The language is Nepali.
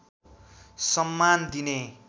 सम्मान दिने